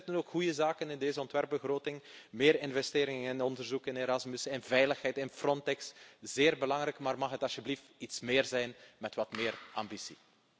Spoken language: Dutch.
Er zitten ook goede zaken in deze ontwerpbegroting meer investeringen in onderzoek, in Erasmus, in veiligheid, in Frontex. Zeer belangrijk, maar mag het alstublieft iets meer zijn met wat meer ambitie.